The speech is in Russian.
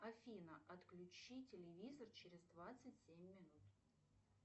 афина отключи телевизор через двадцать семь минут